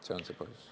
See on see põhjus.